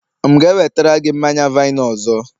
m'gēwetara gi manya-vine ọzọ?